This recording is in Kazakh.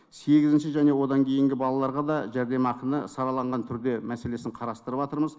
сегізінші және одан кейінгі балаларға да жәрдемақыны сараланған түрде мәселесін қарастырыватырмыз